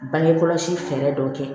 Bange kɔlɔsi fɛɛrɛ dɔ kɛ